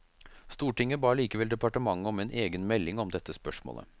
Stortinget ba likevel departementet om en egen melding om dette spørsmålet.